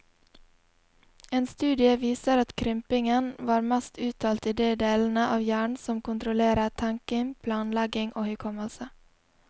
En studie viser at krympingen var mest uttalt i de delene av hjernen som kontrollerer tenking, planlegging og hukommelse.